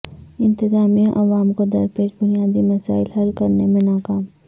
انتظامیہ عوام کو درپیش بنیادی مسائل حل کرنے میں ناکام